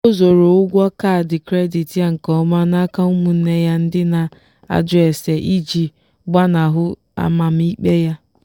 o zoro ụgwọ kaadị kredit ya nke ọma n'aka ụmụnne ya ndị na-ajụ ase iji gbanahụ amamikpe ha.